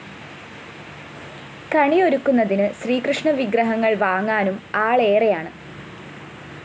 കണിയൊരുക്കുന്നതിന് ശ്രീകൃഷ്ണ വിഗ്രഹങ്ങള്‍ വാങ്ങാനും ആളേറെയാണ്